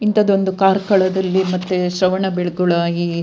ಇಂಥದ್ದೊಂದು ಕಾರ್ಕಳದಲ್ಲಿ ಮತ್ತೆ ಶ್ರವಣ ಬೆಳಗೊಳ ಇಲ್ಲಿ --